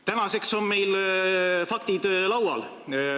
Tänaseks on meil faktid laual.